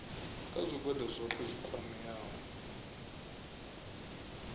kha zwigwada zwohe zwi kwameaho